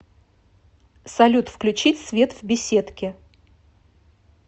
салют включить свет в беседке